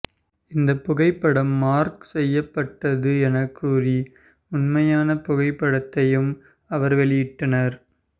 இந்த புகைப்படம் மார்ஃப் செய்யப்பட்டது எனக் கூறி உண்மையான புகைப்படத்தையும் அவர் வெளியிட்டார்